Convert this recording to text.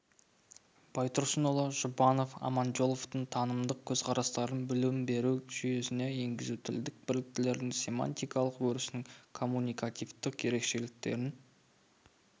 байтұрсынұлы жұбанов аманжоловтың танымдық көзқарастарын білім беру жүйесіне енгізу тілдік бірліктердің семантикалық өрісін коммуникативтік ерекшеліктерін